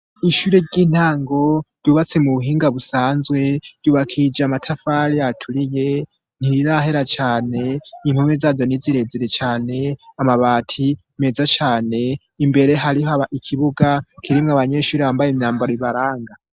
Ishure ry'intango ryubatse mu buhinga busanzwe, ryubakishije amatafari aturiye, ntirirahera cane, impome zazo ni zirezire cane, amabati meza cane, imbere hariho ikibuga kirimwo abanyeshuri bambaye imyambaro ibaranga.